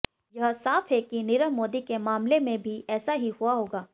यह साफ़ है कि नीरव मोदी के मामले में भी ऐसा ही हुआ होगा